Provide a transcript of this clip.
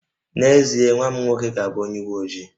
N'ezie, nwa m nwoke ga-abụ onye uwe ojii